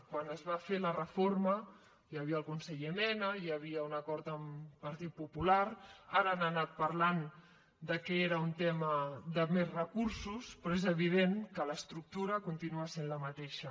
quan es va fer la reforma hi havia el conseller mena hi havia un acord amb el partit popular ara han anat parlant que era un tema de més recursos però és evident que l’estructura continua sent la mateixa